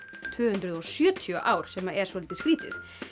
tvö hundruð og sjötíu ár sem er soldið skrítið